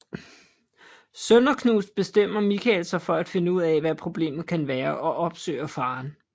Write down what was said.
Sønderknust bestemmer Michael sig for at finde ud hvad problemet kan være og opsøger faren